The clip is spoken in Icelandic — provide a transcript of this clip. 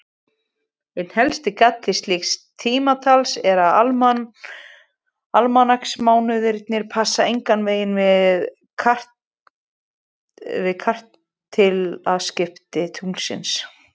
Einn helsti galli slíks tímatals er að almanaksmánuðirnir passa engan veginn við kvartilaskipti tunglsins.